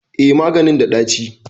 Eh, maganin da ɗaci